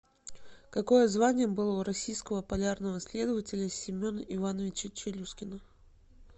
какое звание было у российского полярного исследователя семена ивановича челюскина